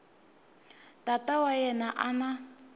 tata wa yena a n